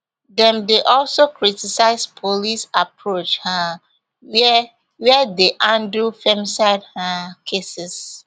dem dey also criticise police approach um were were dey handle femicide um cases